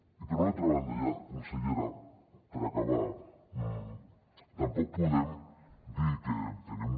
i per una altra banda ja consellera per acabar tampoc podem dir que tenim